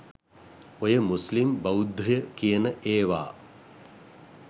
ඔය මුස්ලිම් බෞද්ධය කියන එවා